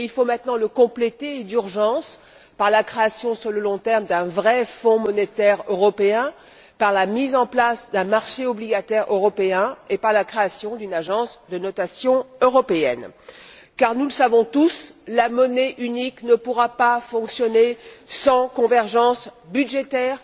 mais il faut maintenant le compléter d'urgence par la création, sur le long terme, d'un vrai Fonds monétaire européen, par la mise en place d'un marché obligataire européen et par la création d'une agence de notation européenne, car comme nous le savons tous, la monnaie unique ne pourra pas fonctionner sans convergence budgétaire,